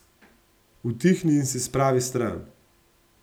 Utihni in se spravi stran!